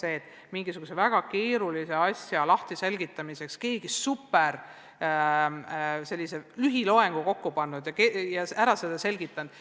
See ongi ju see, et mingisuguse väga keerulise asja selgitamiseks on keegi kokku pannud sellise superlühiloengu ja teema lahti seletanud.